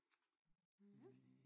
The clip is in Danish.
Ja